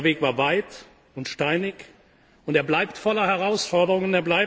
Dieser Weg war weit und steinig, und er bleibt voller Herausforderungen.